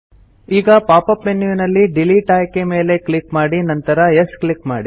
ಈಗ pop up ಮೆನ್ಯುನಲ್ಲಿ delete ಆಯ್ಕೆ ಮೇಲೆ ಕ್ಲಿಕ್ ಮಾಡಿ ನಂತರ ಯೆಸ್ ಕ್ಲಿಕ್ ಮಾಡಿ